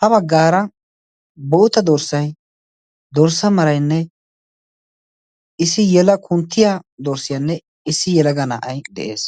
ha baggaara boota dorssai dorssa marainne issi yela kunttiya dorssiyaanne issi yelaga naa7ai de7ees.